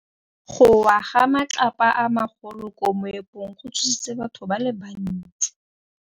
Go wa ga matlapa a magolo ko moepong go tshositse batho ba le bantsi.